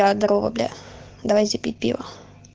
да дарова бля давайте пить пиво